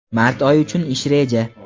Mart oyi uchun ish reja.